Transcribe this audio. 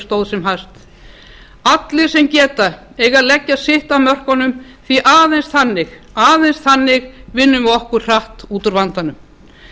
stóð sem hæst allir sem geta eiga að leggja sitt af mörkum því að aðeins þannig vinnum við okkur hratt út úr vandanum